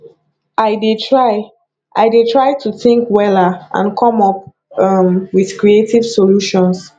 i dey try i dey try to think wella and come up um with creative solutions